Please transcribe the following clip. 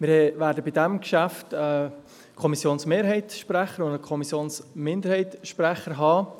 Bei diesem Geschäft werden wir einen Sprecher der Kommissionsmehrheit und einen Sprecher der Kommissionsminderheit haben.